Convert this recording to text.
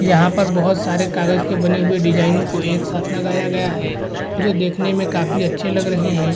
यहां पे बहुत सारे कागज के बने हुए डिजाइनों को एक साथ लगाया गया है जो देखने में काफी अच्छे लग रहे है।